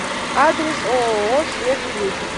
адрес ооо свежий ветер